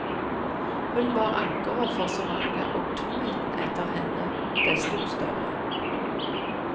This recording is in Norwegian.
Hun var ankeret for så mange, og tomheten etter henne desto større.